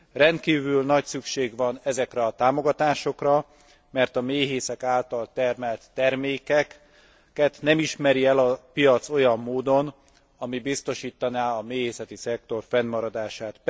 Rendkívül nagy szüksége van ezekre a támogatásokra, mert a méhészet által termelt termékeket nem ismeri el a piac olyan módon, ami biztosítaná a méhészei szektor fennmaradását.